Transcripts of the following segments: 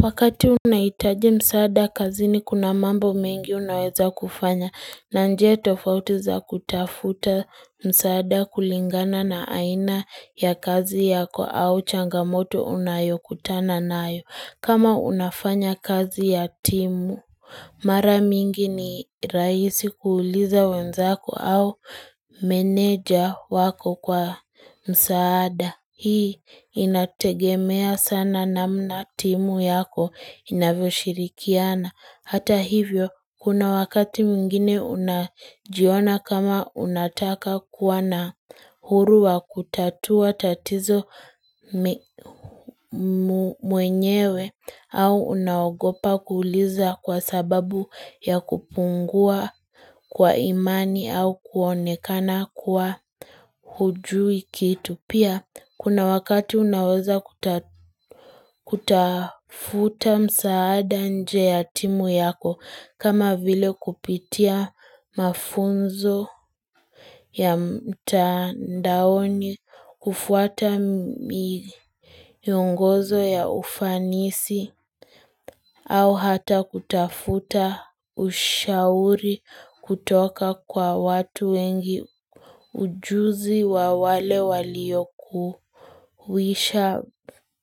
Wakati unahitaji msaada kazini kuna mambo mengi unaweza kufanya na njia tofauti za kutafuta msaada kulingana na aina ya kazi yako au changamoto unayokutana nayo kama unafanya kazi ya timu Mara mingi ni rahisi kuuliza wenzako au meneja wako kwa msaada. Hii inategemea sana namna timu yako inavyoshirikiana. Hata hivyo, kuna wakati mwingine unajiona kama unataka kuwa na uhuru wa kutatua tatizo mwenyewe au unaogopa kuliza kwa sababu ya kupungua kwa imani au kuonekana kuwa hujui kitu. Pia, kuna wakati unaweza kutafuta msaada nje ya timu yako, kama vile kupitia mafunzo ya mtandaoni, kufuata kuongozwe ya ufanisi, au hata kutafuta ushauri kutoka kwa watu wengi ujuzi wa wale waliyokwisha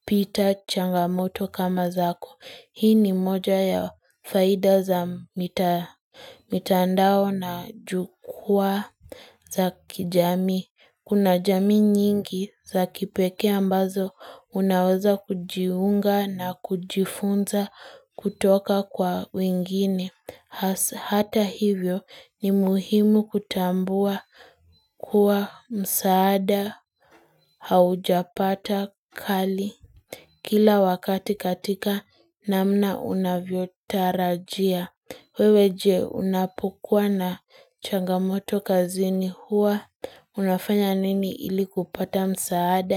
pita changamoto kama zako. Hii ni moja ya faidha za mitandao na jukwaa za kijamii. Kuna jamii nyingi za kipekee ambazo unaweza kujiunga na kujifunza kutoka kwa wengine. Hata hivyo ni muhimu kutambua kuwa msaada haujapata kali kila wakati katika namna unavyo tarajia. Wewe je unapokuwa na changamoto kazini huwa. Unafanya nini ili kupata msaada?